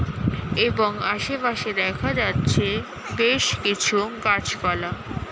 এবং আশেপাশে দেখা যাচ্ছে বেশ কিছু গাছপালা।